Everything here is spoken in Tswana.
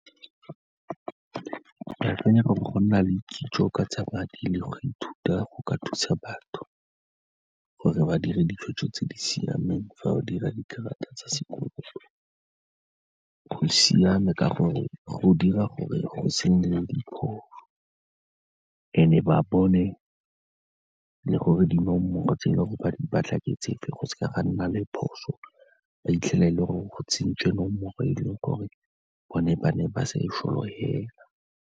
Ke akanya gore go nna le kitso ka tsa madi le go ithuta go ka thusa batho gore ba dira ditshwetso tse di siameng fa ba dira dikarata tsa sekoloto, go siame ka gore go dira gore go se nne le diphoso and-e ba bone le gore dinomoro tse e leng gore ba di batla ke tsefe, go seka ga nna le phoso, ba fitlhela e le gore go tsentswe nomoro e leng gore bone ba ne ba sa e solofela.